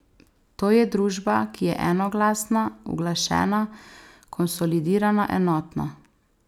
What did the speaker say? To je družba, ki je enoglasna, uglašena, konsolidirana, enotna.